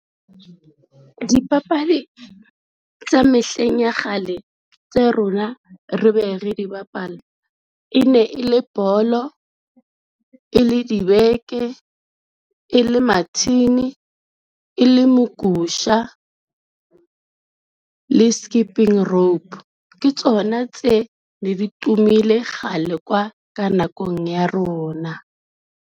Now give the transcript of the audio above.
Dipapadi tsa mehleng ya kgale tse rona re be re di bapala, e ne e le bolo, e le dibeke, e le mathini, e le mogusha le skipping rope ke tsona tse ne di tumileng kgale kwa ka nakong ya rona.